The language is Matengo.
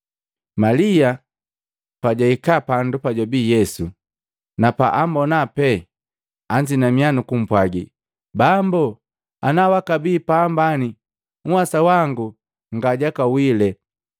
Malia pajwahika pandu pajwabi Yesu, na paambona pee anzinamiya nukumpwagi, “Bambu, ana wakabi apambani, nhwasa wangu nga jaka wile!”